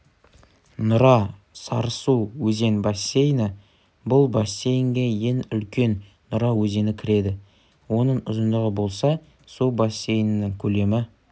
нұра-сарысу өзен бассейні бұл бассейнге ең үлкен нұра өзені кіреді оның ұзындығы болса су бассейнінің көлемі